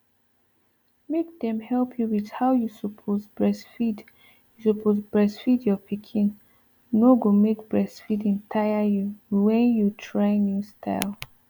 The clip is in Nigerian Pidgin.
make dem help you with how you suppose breastfeed you suppose breastfeed your pikin no go make breastfeeding tire you when you try new style